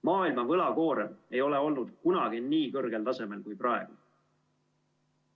Maailma võlakoorem ei ole olnud kunagi nii kõrgel tasemel kui praegu.